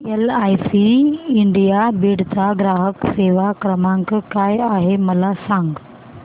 LIC India Beed चा ग्राहक सेवा क्रमांक काय आहे मला सांग